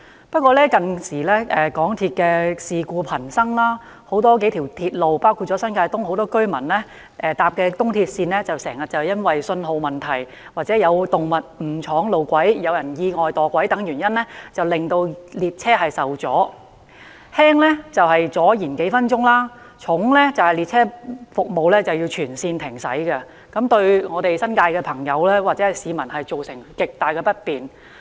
不過，港鐵近年事故頻生，數條鐵路線，包括很多新界東居民乘搭的東鐵線，經常因為信號問題、有動物闖入路軌、有人意外墮軌等原因，令列車服務受阻，輕則延誤服務數分鐘，重則導致列車全線停駛，對新界市民造成極大不便。